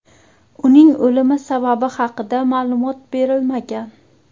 Uning o‘limi sababi haqida ma’lumot berilmagan.